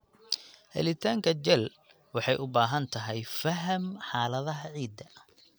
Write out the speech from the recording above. Helitaanka jel waxay u baahan tahay faham xaaladaha ciidda.